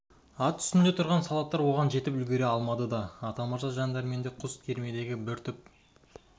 ат үстінде тұрған солдаттар оған жетіп үлгіре алмады да атамырза жан дәрменде құз кемердегі бір түп